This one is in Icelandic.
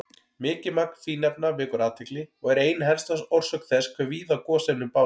Mikið magn fínefna vekur athygli og er ein helsta orsök þess hve víða gosefnin bárust.